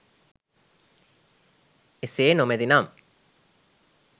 එසේ නොමැති නම්